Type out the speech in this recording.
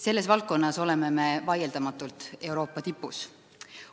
Selles valdkonnas oleme me vaieldamatult Euroopa tipus.